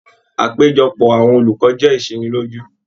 Àpéjọpọ̀ àwọn olùkọ jẹ isiniloju.